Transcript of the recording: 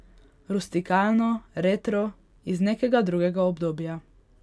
Rustikalno, retro, iz nekega drugega obdobja.